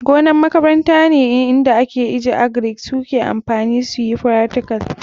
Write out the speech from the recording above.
Gonan makaranta nan ne inda en agric suke amfani suyi fractical.